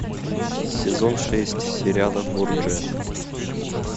сезон шесть сериала борджиа